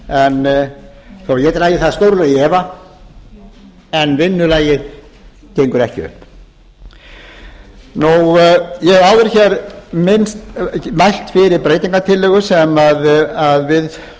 þó að ég dragi það stórlega í efa en vinnulagið gengur ekki upp ég hef áður hér mælt fyrir breytingartillögu sem við